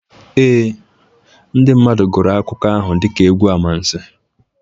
Ee, ndị mmadụ gụrụ akụkọ ahụ dịka egwu amansi